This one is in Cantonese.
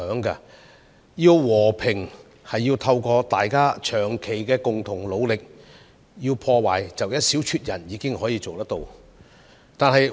如要和平便須透過大家長期共同努力，但說到破壞則只需一小撮人便可做到。